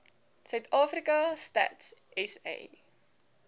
suidafrika stats sa